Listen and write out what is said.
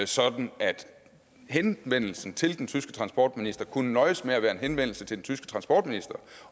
sådan at henvendelsen til den tyske transportminister kunne nøjes med at være en henvendelse til den tyske transportminister